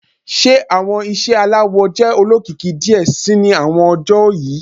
Ṣe awọn iṣẹ alawọ jẹ olokiki diẹ sii ni awọn ọjọ yii